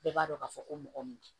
Bɛɛ b'a dɔn k'a fɔ ko mɔgɔ min